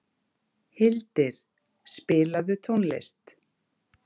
Hildir, spilaðu tónlist.